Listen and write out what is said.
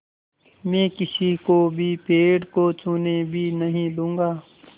मैं किसी को भी पेड़ को छूने भी नहीं दूँगा